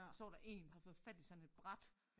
Så var der én havde fået fat i sådan et bræt